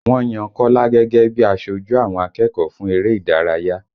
Wọ́n yan Kọ́lá gẹ́gẹ́ bí i aṣojú àwọn akẹ́kọ̀ọ́ fún eré ìdárayá